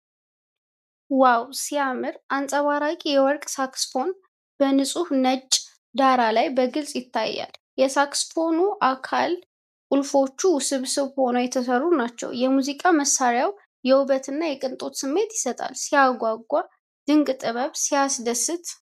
ዋው ሲያምር! አንጸባራቂ የወርቅ ሳክስፎን በንፁህ ነጭ ዳራ ላይ በግልፅ ይታያል። የሳክስፎኑ አካልና ቁልፎች ውስብስብ ሆነው የተሠሩ ናቸው። የሙዚቃ መሳሪያው የውበትና የቅንጦት ስሜት ይሰጣል። ሲያጓጓ! ድንቅ ጥበብ! ሲያስደስት!